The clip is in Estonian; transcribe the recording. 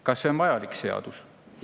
Kas see on vajalik seadus?